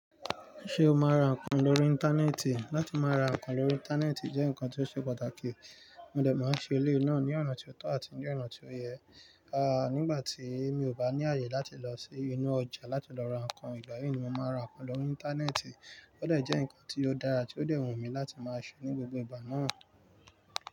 Ṣé o máa ra nǹkan lórí Íńtánẹ́ẹ̀tì? Látí máa ra nǹkan lórí Íńtánẹ́ẹ̀tì jẹ́ ǹkan tí ó ṣe pàtàkì. Mo dẹ̀ máa ń ṣe eléè náà ní ọ̀nà tí ó tọ̀ àti ní ọ̀nà tí ó yẹ. Aà, nígbà tí mi ò bá ní àyè láti lọ sí inú ọjà láti lọ ra nǹkan, ìgbà yí ni mo máa ra nǹkan lórí Íńtánẹ́ẹ̀tì. Ó dẹ̀ jẹ́ ǹkan tí ó dára tí ó dẹ́ wun mi láti máa ṣe ní gbogbo ìgbà náà.